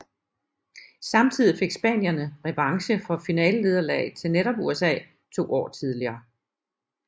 Samtidig fik spanierne revanche for finalenederlaget til netop USA to år tidligere